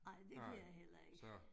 Nej, det kan jeg heller ikke